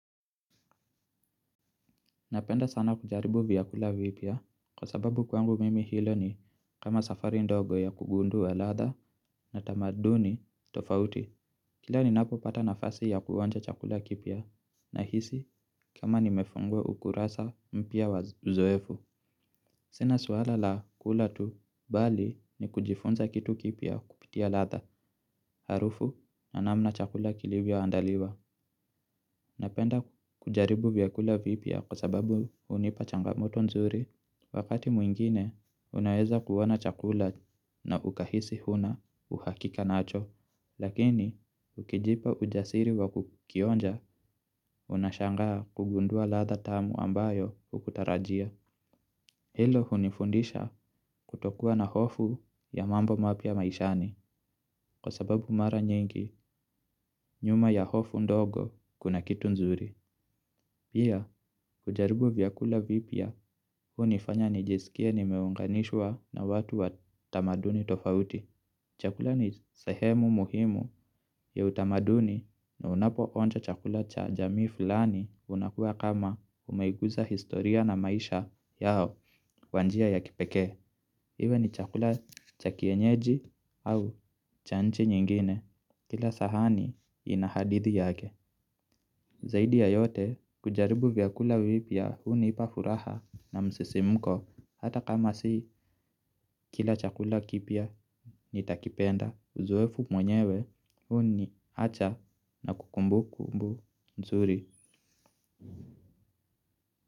Napenda sana kujaribu vyakula vipya kwa sababu kwangu mimi hilo ni kama safari ndogo ya kugundua ladha na tamaduni tofauti. Kila ninapopata nafasi ya kuonja chakula kipya nahisi kama nimefungua ukurasa mpya wa uzoefu. Sina suala la kula tu bali ni kujifunza kitu kipya kupitia ladha harufu na namna chakula kilivyoandaliwa. Napenda kujaribu vyakula vipya kwa sababu hunipa changamoto nzuri wakati mwingine unaeza kuona chakula na ukahisi huna uhakika nacho. Lakini ukijipa ujasiri wa kukionja unashangaa kugundua ladha tamu ambayo hukutarajia. Hilo hunifundisha kutokuwa na hofu ya mambo mapya maishani kwa sababu mara nyingi nyuma ya hofu ndogo kuna kitu nzuri. Pia, kujaribu vyakula vipya hunifanya nijisikie nimeunganishwa na watu wa tamaduni tofauti. Chakula ni sehemu muhimu ya utamaduni na unapoonja chakula cha jamii fulani unakuwa kama umeiguza historia na maisha yao kwa njia ya kipekee. Iwe ni chakula cha kienyeji au cha nchi nyingine. Kila sahani ina hadithi yake. Zaidi ya yote, kujaribu vyakula vipya hunipa furaha na msisimko hata kama si kila chakula kipya nitakipenda uzoefu mwenyewe huniacha na kumbukumbu nzuri.